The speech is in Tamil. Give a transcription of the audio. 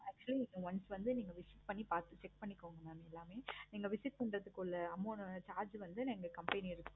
actually இத once வந்து நீங்க visit பண்ணி பார்த்துட்டு check பண்ணிக்கோங்க. mam எல்லாமே நீங்க visit பண்றதுக்குள்ள amount வந்து charge வந்து எங்க company